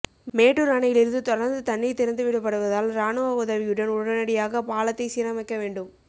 மேட்டூர் அணையிலிருந்து தொடர்ந்து தண்ணீர் திறந்து விடப்படுவதால் ராணுவ உதவியுடன் உடனடியாக பாலத்தை சீரமைக்க வேண்டும்